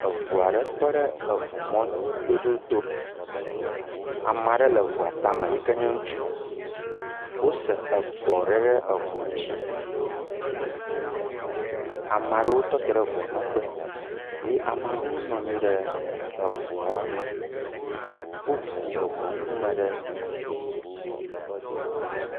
Eŋu aɖe tɔ ɖe eŋumɔdodoto. Ame aɖe le eŋua tame yi ke nye ŋutsu. Wose egbɔ aɖe ɖe eŋua ŋutsi. Ame aɖewo tɔtɔ ɖe ŋua megbe eye ame aɖewo nɔ anyi ɖe eŋua me. Woŋu eŋɔ ŋkume ɖe.